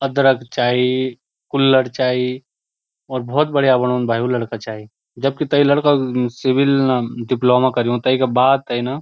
अदरक चाई कुल्हड़ चाई और भौत बढ़िया बणौंद भाई वू लड़का चाय जबकि तै लड़का क सिविल डिप्लोमा करुयुं तैका बाद तै न।